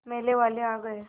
मेले वाले आ गए